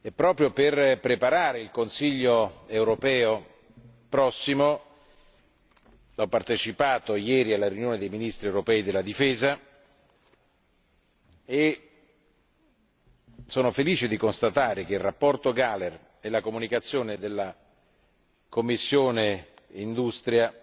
Proprio per preparare il Consiglio europeo prossimo, ho partecipato ieri alla riunione dei Ministri europei della difesa, lieto di constatare che la relazione Gahler e la comunicazione della commissione per l'industria